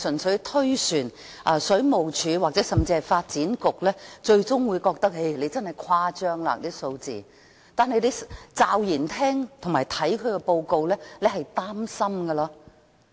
水務署，甚至發展局可能會覺得報告所推算的數字誇張，但驟然聽到這報告的內容會令你很擔心。